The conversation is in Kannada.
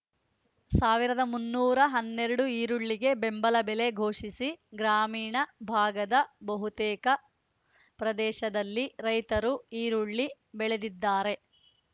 ಸಾವಿರದ ಮುನ್ನೂರ ಹನ್ನೆರಡು ಈರುಳ್ಳಿಗೆ ಬೆಂಬಲ ಬೆಲೆ ಘೋಷಿಸಿ ಗ್ರಾಮೀಣ ಭಾಗದ ಬಹುತೇಕ ಪ್ರದೇಶದಲ್ಲಿ ರೈತರು ಈರುಳ್ಳಿ ಬೆಳೆದಿದ್ದಾರೆ